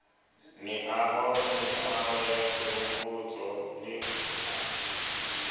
meaho meaho ya sehopotso le